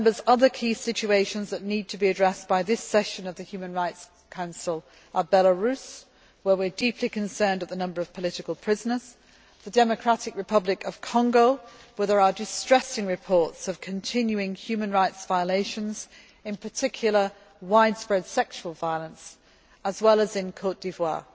Other key situations that need to be addressed by this session of the Human Rights Council are Belarus, where we are deeply concerned at the number of political prisoners, the Democratic Republic of Congo where there are distressing reports of continuing human rights violations, in particular, widespread sexual violence as well as Côte d'Ivoire.